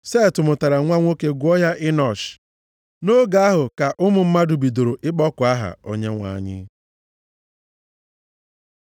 Set mụtara nwa nwoke gụọ ya Enọsh. Nʼoge ahụ ka ụmụ mmadụ bidoro ịkpọku aha Onyenwe anyị.